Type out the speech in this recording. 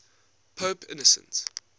pope innocent